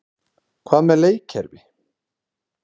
Hvað með leikkerfi?